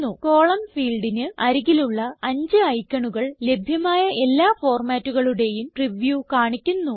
column ഫീൽഡിന് അരികിലുള്ള അഞ്ച് ഐക്കണുകൾ ലഭ്യമായ എല്ലാ ഫോർമാറ്റുകളുടേയും പ്രിവ്യൂ കാണിക്കുന്നു